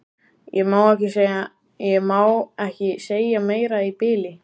Ég má ekki segja meira í bili.